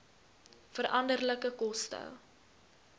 veranderlike koste